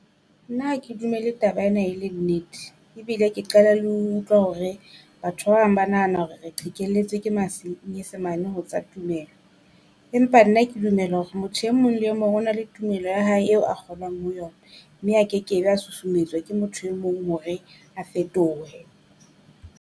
Nna ha ke dumele taba ena e le nnete ebile ke qala le ho utlwa hore batho ba bang ba nahana hore re qhekelletswe ke manyesemane ho tsa tumelo. Empa nna ke dumela hore motho e mong le mong o na le tumelo ya hae eo a kgolwang ho yona mme a kekebe a susumetswa ke motho e mong hore a fetohe.